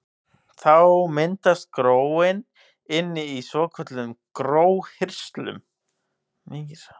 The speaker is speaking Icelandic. Þá myndast gróin inni í svokölluðum gróhirslum.